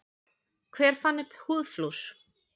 Hver fann upp húðflúr?